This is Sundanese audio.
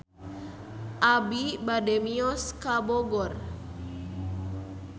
Abi bade mios ka Bogor